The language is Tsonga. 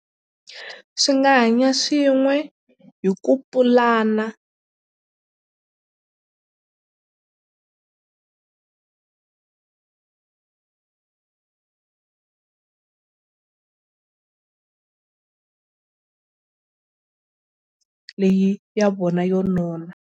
Swi nga hanya swin'we hi ku pulana leyi ya vona yo nona.